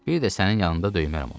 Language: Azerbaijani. Bir də sənin yanında döymərəm onu.